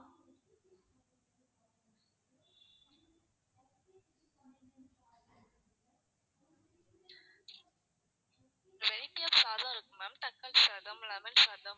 variety of சாதம் இருக்கு ma'am தக்காளி சாதம் lemon சாதம்